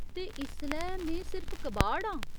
ते इसलै में सिर्फ कबाड़ आं !